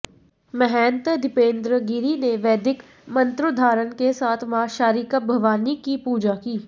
महंत दीपेंद्र गिरि ने वैदिक मंत्रोधाारण के साथ मां शारिका भवानी की पूजा की